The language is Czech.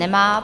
Nemá.